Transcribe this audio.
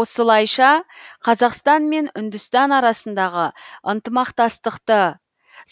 осылайша қазақстан мен үндістан арасындағы ынтымақтастықты